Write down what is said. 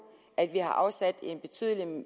at vi har afsat